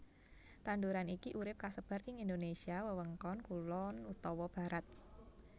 Tanduran iki urip kasebar ing Indonésia wewengkon kulon utawa barat